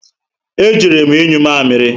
E jere m inyụ mamịrị